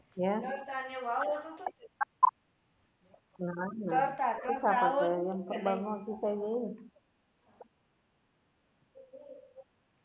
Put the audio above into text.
ક્યાં ના ના